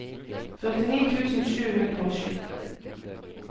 førtini tusen sju hundre og sju